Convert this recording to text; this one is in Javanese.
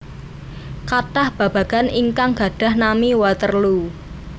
Kathah babagan ingkang gadhah nami Waterloo